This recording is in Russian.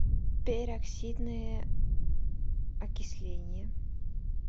пероксидное окисление